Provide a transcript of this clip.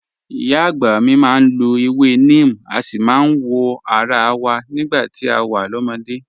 Ìyá àgbà mi máa ń lọ ewé neem, a sì máa ń wọ ara wa nígbà tá a wà lọ́mọdé